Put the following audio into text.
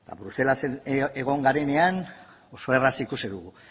bruselasen egon garenean oso erraz ikusi dugu